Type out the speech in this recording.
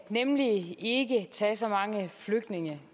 nemlig ikke tage så mange flygtninge